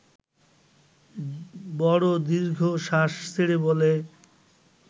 বড় দীর্ঘশ্বাস ছেড়ে বলে